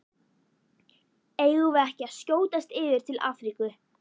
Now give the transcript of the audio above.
Eigum við ekki að skjótast yfir til Afríku?